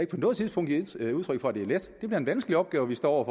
på noget tidspunkt givet udtryk for at det er let det er en vanskelig opgave vi står over